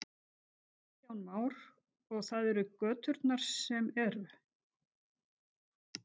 Kristján Már: Og það eru göturnar sem eru?